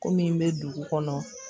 Ko min bɛ dugu kɔnɔ